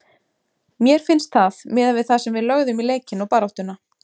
Mér finnst það miðað við það sem við lögðum í leikinn og baráttuna.